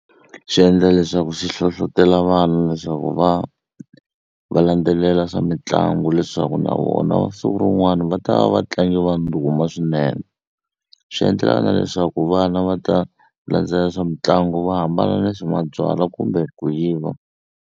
Swi endla leswaku swi hlohletela vana leswaku va va landzelela swa mitlangu leswaku na vona siku rin'wani va ta va vatlangi va ndhuma swinene swi endlela na leswaku vana va ta landzelela swa mitlangu va hambana na swa mabyalwa kumbe ku yiva.